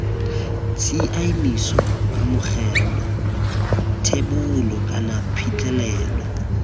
tshiaimiso kamogelo thebolo kana phitlhelelo